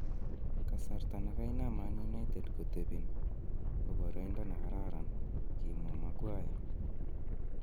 "Kasarta ne kainam Man United kotebin ko boroindo ne kararan," kimwa Maguire